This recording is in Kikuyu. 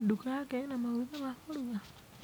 Duka yake ĩna maguta ma kũruga?